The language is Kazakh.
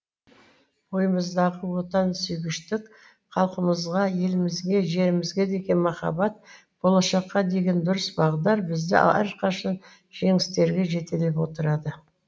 бойымыздағы отансүйгіштік халқымызға елімізге жерімізге деген махаббат болашаққа деген дұрыс бағдар бізді әрқашан жеңістерге жетелеп отырады